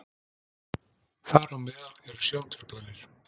þar á meðal eru sjóntruflanir